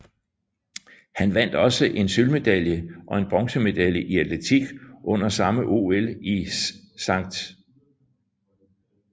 Han vandt også en sølvmedalje og en bronzemedalje i atletik under samme OL i St